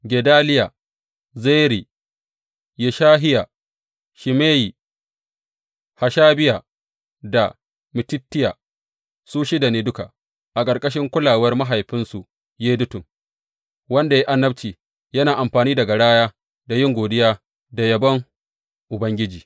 Gedaliya, Zeri, Yeshahiya, Shimeyi, Hashabiya da Mattitiya, su shida ne duka, a ƙarƙashin kulawar mahaifinsu Yedutun, wanda ya yi annabci, yana amfani da garaya a yin godiya da yabon Ubangiji.